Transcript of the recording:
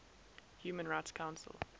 human rights council